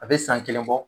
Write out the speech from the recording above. A bɛ san kelen bɔ